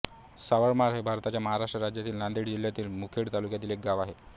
सावरमाळ हे भारताच्या महाराष्ट्र राज्यातील नांदेड जिल्ह्यातील मुखेड तालुक्यातील एक गाव आहे